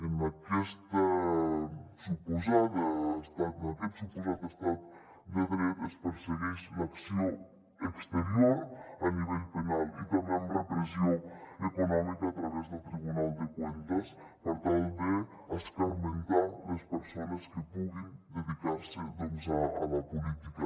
en aquest suposat estat de dret es persegueix l’acció exterior a nivell penal i també amb repressió econòmica a través del tribunal de cuentas per tal d’escarmentar les persones que puguin dedicar se a la política